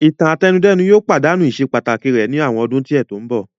Ìtàn-àtẹnudẹ́nu yóò padanu iṣe pataki rẹ ni awọn ọdun diẹ ti nbọ.